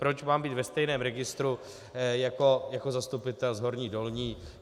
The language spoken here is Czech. Proč mám být ve stejném registru, jako zastupitel z Horní Dolní.